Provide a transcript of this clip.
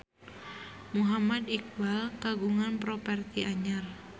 Muhammad Iqbal kagungan properti anyar